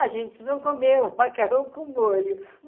A gente, vão comer o macarrão com molho.